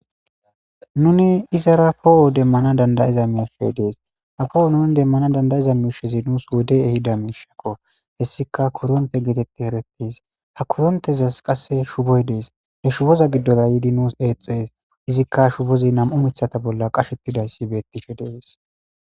Nuni izara poohwo demmana dandayiza miishe dees ha fowo nuni demmana dandayiza miishezi nuus wode ehida miishakko hessika koronte geetetti erettes ha korontezas qasse shuboy dees ne shuboza giddola yiidi nuus eexxees izikka shubozi nam7u mithata bolla qashettidayssi bettifhe deeees.